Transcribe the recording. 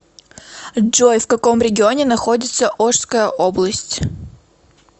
джой в каком регионе находится ошская область